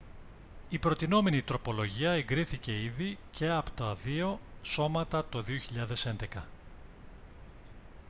η προτεινόμενη τροπολογία εγκρίθηκε ήδη και από τα δύο σώματα το 2011